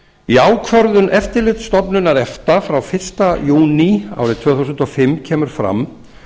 í ákvörðun eftirlitsstofnunar efta frá fyrsta júní tvö þúsund og fimm kemur fram